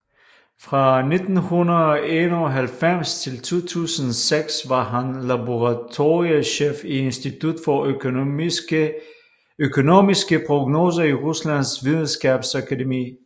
Fra 1991 til 2006 var han laboratoriechef i Institut for Økonomiske Prognoser i Ruslands Videnskabsakademi